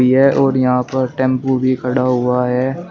और यहाँ पर टेम्पो भी खड़ा हुआ है।